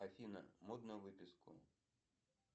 афина можно выписку